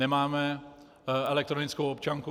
Nemáme elektronickou občanku.